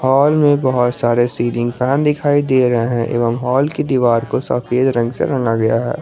Hall में बहोत सारे सीलिंग फैन दिखाई दे रहे हैं एवं हॉल की दीवार को सफेद रंग से रंगा गया है।